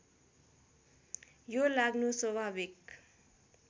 यो लाग्नु स्वाभाविक